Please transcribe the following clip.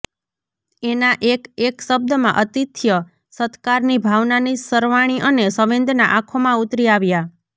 એના એક એક શબ્દમાં અતિથ્ય સત્કારની ભાવનાની સરવાણી અને સંવેદના આંખોમાં ઉતરી આવ્યા